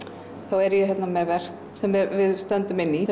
er ég með verk sem við stöndum inn í